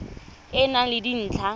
e e nang le dintlha